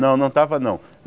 Não, não estava não.